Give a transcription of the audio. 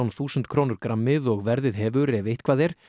þúsund krónur grammið og verðið hefur ef eitthvað er